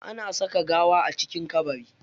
Ana saka gawa a cikin kabari.